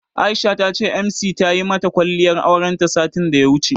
Aisha ta ce Emjee ce tayi mata kwalliyar aurenta satin daya wuce.